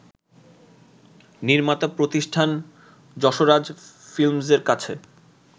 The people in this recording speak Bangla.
নির্মাতা প্রতিষ্ঠান যশরাজ ফিল্মসের কাছে